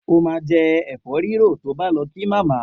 O ma jẹ́ ẹ̀fọ́rírò tó bá lọ kí màmá.